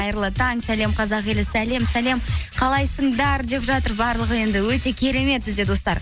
қайырлы таң сәлем қазақ елі сәлем сәлем қалайсыңдар деп жатыр барлығы енді өте керемет бізде достар